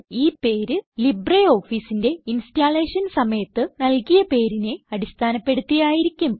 ഈ പേര് LibreOfficeന്റെ ഇൻസ്റ്റലേഷൻ സമയത്ത് നല്കിയ പേരിനെ അടിസ്ഥാനപ്പെടുത്തി ആയിരിക്കും